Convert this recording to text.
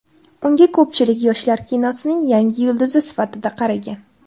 Unga ko‘pchilik yoshlar kinosining yangi yulduzi sifatida qaragan.